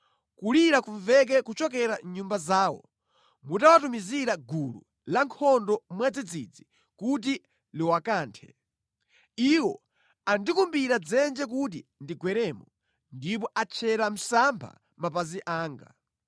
Kulira kumveke kuchokera mʼnyumba zawo mutawatumizira gulu lankhondo mwadzidzidzi kuti liwakanthe. Iwo andikumbira dzenje kuti ndigweremo ndipo atchera msampha mapazi anga.